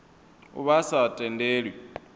a vha a sa tendelwi